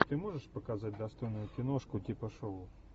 ты можешь показать достойную киношку типа шоу